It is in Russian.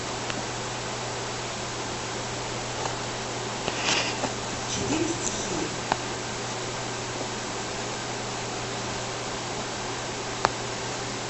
четыре стихии